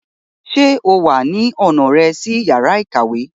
Ṣe o wa ni ọna rẹ si yara ikawe?